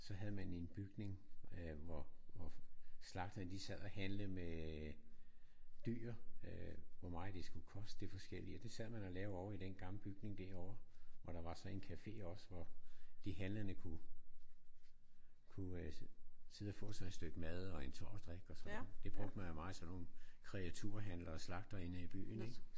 Så havde man en bygning øh hvor hvor slagterne de sad og handlede med dyr øh hvor meget det skulle koste det forskellige. Og det sad man og lavede ovre i den gamle bygning derovre hvor der var sådan en café også hvor de handlende kunne kunne øh sidde og få sig et stykke mad og en tår at drikke og sådan. Det brugte man jo meget sådan nogle kreaturhandlere og slagtere inde af i byen ik?